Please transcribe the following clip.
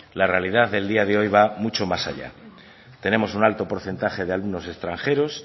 la realidad del día de hoy va mucho más allá tenemos un alto porcentaje de alumnos extranjeros